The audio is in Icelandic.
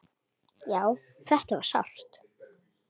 Já, þetta var sárt.